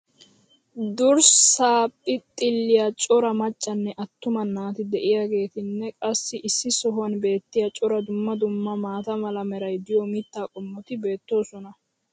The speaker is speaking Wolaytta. durssaa phixxiliya cora maccannne attuma naati diyaageetinne qassi issi sohuwan beetiya cora dumma dumma maata mala meray diyo mitaa qommoti beetoosona.